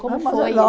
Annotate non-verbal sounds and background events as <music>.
Como foi? <unintelligible>